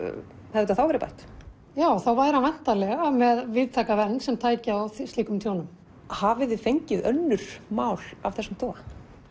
hefði þetta þá verið bætt já þá væri hann væntanlega með víðtæka vernd sem tæki á slíkum tjónum hafiði fengið önnur mál af þessum toga